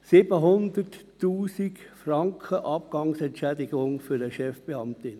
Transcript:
700 000 Franken Abgangsentschädigung für eine Chefbeamtin.